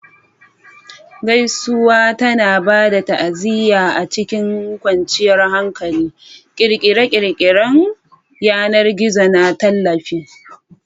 Gaisuwa tana ba da ta'aziyya a cikin kwanciyar hankali, ƙirƙirar yanar gizo na tallafi.